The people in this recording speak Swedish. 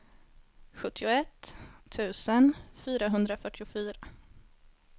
sjuttioett tusen fyrahundrafyrtiofyra